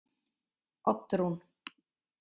Oddrún